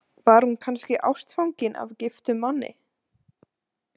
Var hún kannski ástfangin af giftum manni?